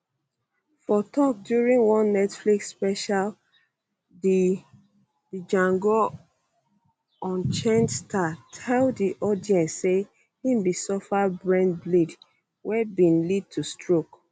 for tok during one netflix special di django unchained star tell di audience say e bin suffer brain bleed wey bin lead to stroke